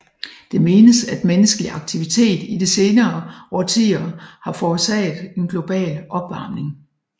Det menes at menneskelig aktivitet i det senere årtier har forårsaget en global opvarmning